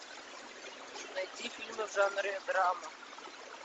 найти фильмы в жанре драма